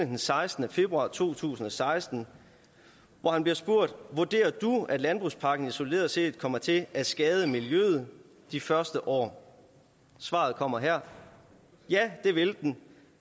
den sekstende februar to tusind og seksten hvor han bliver spurgt vurderer du at landbrugspakken isoleret set kommer til at skade miljøet de første år svaret kommer her ja det vil den